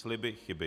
Sliby chyby.